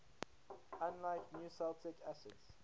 unlike nucleic acids